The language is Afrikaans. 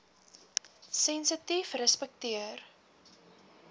sensitiefrespekteer